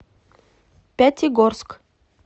пятигорск